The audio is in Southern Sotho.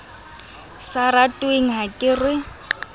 sa ratweng ha ke re